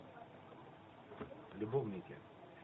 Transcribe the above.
любовники